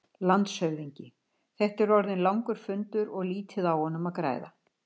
LANDSHÖFÐINGI: Þetta er orðinn langur fundur og lítið á honum að græða.